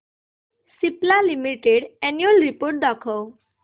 Cipla limited annual report दाखव